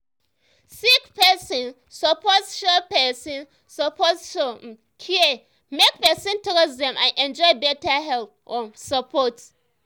sick person suppose show person suppose show um care um make person trust dem and enjoy better health um support.